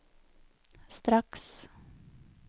straks